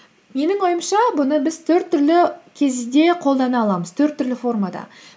менің ойымша бұны біз төрт түрлі кезде қолдана аламыз төрт түрлі формада